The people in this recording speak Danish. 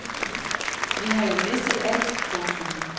Vi har jo mistet alt. punktum